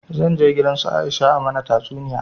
Zan je gidan su Aisha a mana tatsuniya